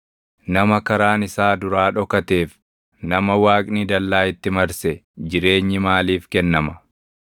Nama karaan isaa duraa dhokateef nama Waaqni dallaa itti marse jireenyi maaliif kennama?